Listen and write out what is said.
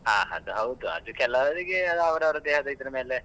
ಹಾ ಅದು ಹೌದು ಅದು ಕೆಲವರಿಗೆ ಅವ್ರವ್ರ ದೇಹದ ಇದರ ಮೇಲೆ.